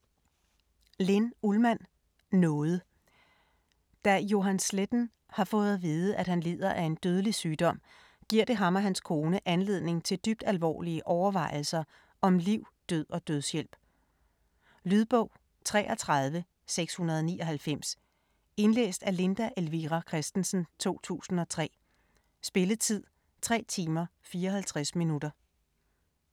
Ullmann, Linn: Nåde Da Johan Sletten har fået at vide, at han lider af en dødelig sygdom, giver det ham og hans kone anledning til dybt alvorlige overvejelser om liv, død og dødshjælp. Lydbog 33699 Indlæst af Linda Elvira Kristensen, 2003. Spilletid: 3 timer, 54 minutter.